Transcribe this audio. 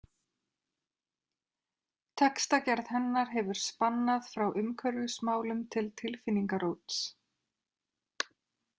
Textagerð hennar hefur spannað frá umhverfismálum til tilfinningaróts.